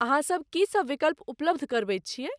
अहाँ सब की सभ विकल्प उपलब्ध करबैत छियैक ?